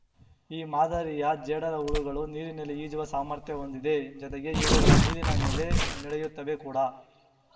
ಈ ಮಾದರಿಯ ಜೇಡರಹುಳುಗಳು ನೀರಿನಲ್ಲಿ ಈಜುವ ಸಾಮರ್ಥ್ಯ ಹೊಂದಿದೆ ಜೊತೆಗೆ ಇವುಗಳು ನೀರಿನ ಮೇಲೆ ನಡೆಯುತ್ತವೆ ಕೂಡ